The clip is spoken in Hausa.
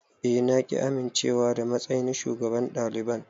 Eh na ƙi amincewa da matsayin shugaban daliban.